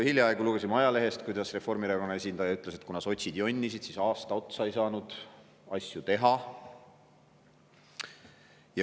Hiljaaegu lugesime ajalehest, et Reformierakonna esindaja ütles, et kuna sotsid jonnisid, siis aasta otsa ei saanud asju teha.